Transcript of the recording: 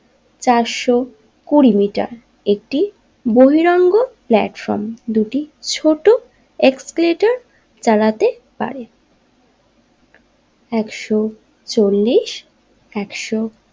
চারশো কুড়ি মিটার একটি বহিরঙ্গ প্লাটফর্ম দুটি ছোট এক্সেলেটর চালাতে পারে একশো চল্লিশ একশো।